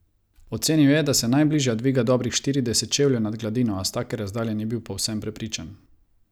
Ocenil je, da se najbližja dviga dobrih štirideset čevljev nad gladino, a s take razdalje ni bil povsem prepričan.